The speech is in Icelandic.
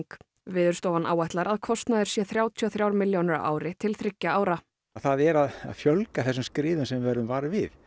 Veðurstofan áætlar að kostnaður sé þrjátíu og þrjár milljónir á ári til þriggja ára það er að fjölga þessum skriðum sem við verðum vör við